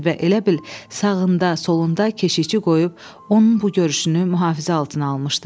Və elə bil sağında, solunda keşiyçi qoyub onun bu görüşünü mühafizə altına almışdı.